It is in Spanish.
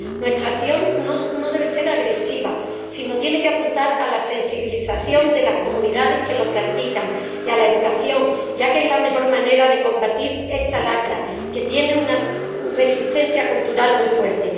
Nuestra acción no debe ser agresiva, sino que tiene que apuntar a la sensibilización de las comunidades que lo practican y a la educación, ya que es la mejor manera de combatir esta lacra, que tiene una resistencia cultural muy fuerte.